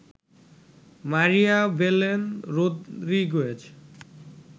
Maria Belen Rodriguez